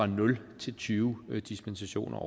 nul tyve dispensationer